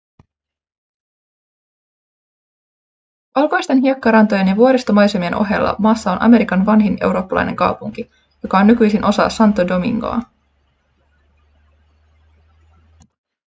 valkoisten hiekkarantojen ja vuoristomaisemien ohella maassa on amerikan vanhin eurooppalainen kaupunki joka on nykyisin osa santo domingoa